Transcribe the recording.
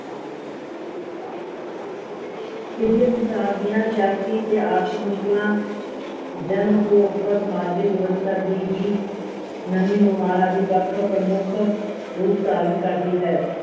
ਤੀਜੇ ਸੰਸਾਰ ਦੀਆ ਸਿਆਸੀ ਤੇ ਆਰਥਿਕ ਮੁਸ਼ਕਲਾ ਜਨਉਪਭੋਕਤਾ ਸਮਾਜਿਕ ਵਿਵਸਥਾ ਦੀ ਵੀ ਨਵੀ ਨੁਹਾਰ ਆਦਿ ਪੱਖ ਪ੍ਰਮੁੱਖ ਰੂਪ ਧਾਰਨ ਕਰਦੀ ਹੈ ।